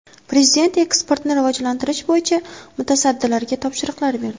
Prezident eksportni rivojlantirish bo‘yicha mutasaddilarga topshiriqlar berdi.